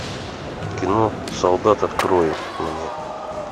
кино солдат открой мне